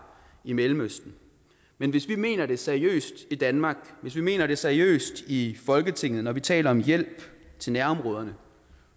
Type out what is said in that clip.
i mellemøsten men hvis vi mener det seriøst i danmark hvis vi mener det seriøst i folketinget når vi taler om hjælp til nærområderne